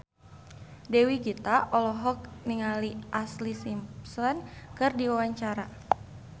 Dewi Gita olohok ningali Ashlee Simpson keur diwawancara